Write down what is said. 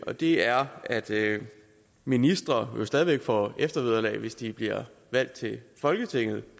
og det er at ministre jo stadig væk får eftervederlag hvis de bliver valgt til folketinget